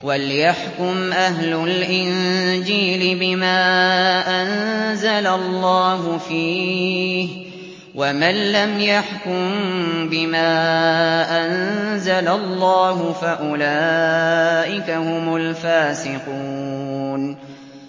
وَلْيَحْكُمْ أَهْلُ الْإِنجِيلِ بِمَا أَنزَلَ اللَّهُ فِيهِ ۚ وَمَن لَّمْ يَحْكُم بِمَا أَنزَلَ اللَّهُ فَأُولَٰئِكَ هُمُ الْفَاسِقُونَ